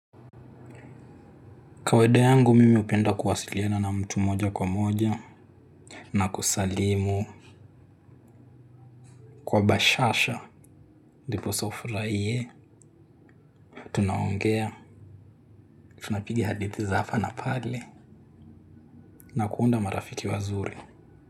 Kawaida yangu mimi hupenda kuwasiliana na mtu moja kwa moja na kusalimu kwa bashasha. Ndiposa ufurahiye. Tunaongea, tunapiga hadithi za hapa na pale na kuunda marafiki wazuri.